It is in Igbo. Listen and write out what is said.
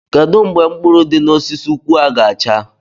Kedu mgbe mkpụrụ di n'osisi nkwụ a ga-acha?